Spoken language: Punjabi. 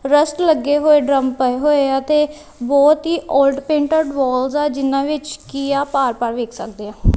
ਰੈਸਟ ਲੱਗੇ ਹੋਏ ਡਰੱਮ ਪਏ ਹੋਏ ਆ ਤੇ ਬਹੁਤ ਹੀ ਔਲਡ ਪੈਂਟਡ ਵਾਲਸ ਆ ਜਿੰਨਾਂ ਵਿੱਚ ਕੀ ਆਪਾਂ ਆਰ ਪਾਰ ਵੇਖ ਸਕਦੇ ਆ।